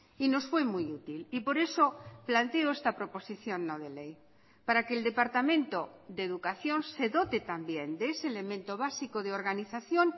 y nos fue muy útil y por eso planteo esta proposición no de ley para que el departamento de educación se dote también de ese elemento básico de organización